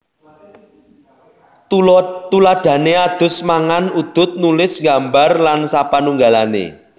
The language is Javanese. Tuladhané adus mangan udud nulis nggambar lan sapanunggalané